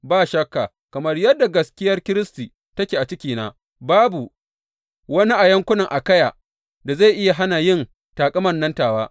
Ba shakka, kamar yadda gaskiyar Kiristi take a cikina, babu wani a yankunan Akayya da zai iya hana yin taƙaman nan tawa.